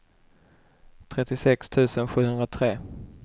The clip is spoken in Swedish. trettiosex tusen sjuhundratre